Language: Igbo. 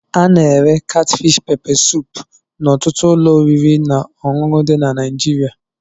Ana-ere katfish pepe suup n'ọtụtụ ụlọ oriri na ọṅụṅụ dị na Naịjirịa.